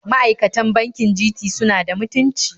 Ma'aikatan bankin Citi suna da mutunci